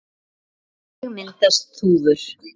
Hvernig myndast þúfur?